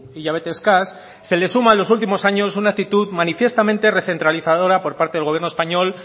hilabete eskas se le suma en los últimos años una actitud manifiestamente recentralizadora por parte del gobierno español